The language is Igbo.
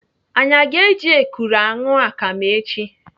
Anyị aga eji ekuru aṅụ akam echi?